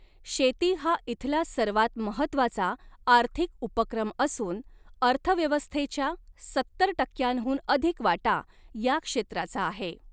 शेती हा इथला सर्वात महत्त्वाचा आर्थिक उपक्रम असून अर्थव्यवस्थेच्या सत्तर टक्क्यांहून अधिक वाटा या क्षेत्राचा आहे.